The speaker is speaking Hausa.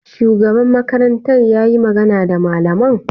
Shugaba makarantar yayi magana da malaman?